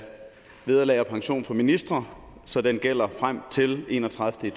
vederlag og pension for ministre så den gælder frem til den enogtredivete